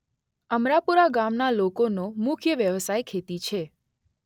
અમરાપુરા ગામના લોકોનો મુખ્ય વ્યવસાય ખેતી છે.